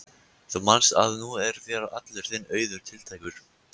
Þú manst að nú er þér allur þinn auður tiltækur.